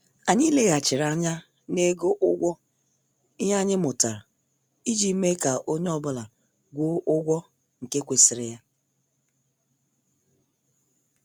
Anyị leghachiri anya na-ego ụgwọ ihe anyị mụtara iji mee ka onye ọ bụla gwuo ụgwọ nke kwesịrị ya.